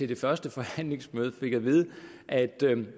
det første forhandlingsmøde fik at vide at